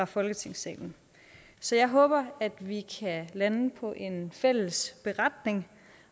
folketingssalen så jeg håber at vi kan lande på en fælles beretning